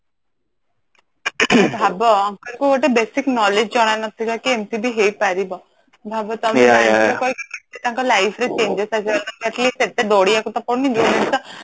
ing ଭାବ uncle ଙ୍କୁ ଗୋଟେ basic knowledge ଜଣା ନଥିବ କି ଏମତି ବି ହେଇ ପାରିବ କେତେ ତାଙ୍କ life ରେ changes ଆସି ସେତେ ବଢିବାକୁ ତ ପଡୁନି